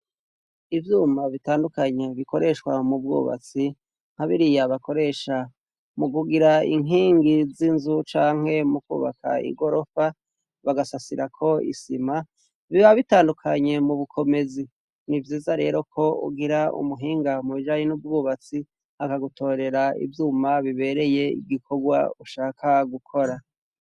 Ivyuma bitandukanye bikoreshwa mu bwubatsi, nka biriya bakoresha mu kugira inkingi z'inzu canke mu kwubaka igorofa bagasasirako isima, biba bitandukanye mu bukomezi. Ni vyiza rero ko ugira umuhinga mu bijanye n'ubwubatsi, akagutorera ivyuma bibereye igikorwa ushaka gukora.